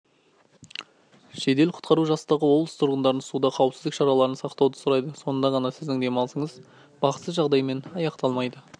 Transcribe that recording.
жедел-құтқару жасағы облыс тұрғындарын суда қауіпсіздік шараларын сақтауды сұрайды сонда ғана сіздің демалысыңыз бақытсыз жағдаймен аяқталмайды